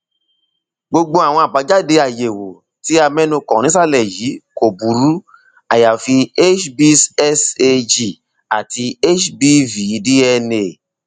gbogbo àwọn àbájáde àyẹwò tí a mẹnu kàn nísàlẹ yìí kò burú àyàfi hbsag àti hbvdna